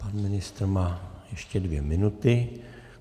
Pan ministr má ještě dvě minuty.